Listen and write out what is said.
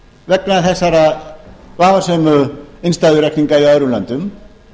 vegna þessara vafasömu innstæðureikninga í öðrum löndum